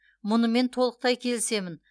мұнымен толықтай келісемін